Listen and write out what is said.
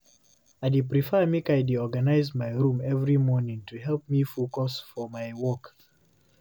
I dey prefer make I dey organize my room every morning to help me focus for my work.